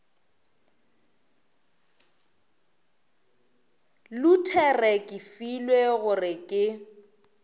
luthere ke filwe gore ke